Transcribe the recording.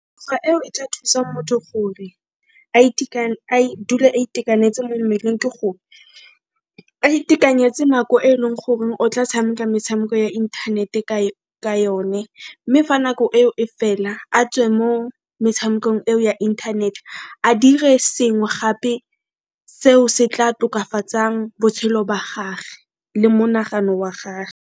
eo e tla thusang motho gore a dule a itekanetse mo mmeleng ke a itekanetse nako e e leng gore o tla tshameka metshameko ya inthanete ka yone mme fa nako eo e fela a tswe mo metshamekong eo ya inthanete a dire sengwe gape seo se tla tokafatsang botshelo ba gage le monagano wa gage.